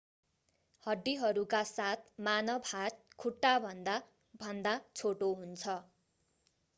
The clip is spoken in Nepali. हड्डीहरूका साथ मानव हात खुट्टाभन्दा भन्दा छोटो हुन्छ